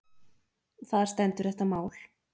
Þar stendur þetta mál.